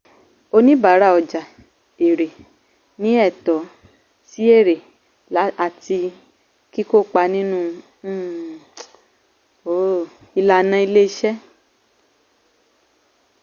oníbàárà ọjà èèrè ní ẹ̀tọ́ sí èèrè àti kíkópà nínú um um ìlànà ilé iṣẹ́.